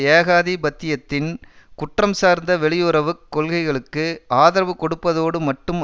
ஏகாதிபத்தியத்தின் குற்றம் சார்ந்த வெளியுறவு கொள்கைகளுக்கு ஆதரவு கொடுப்பதோடு மட்டும்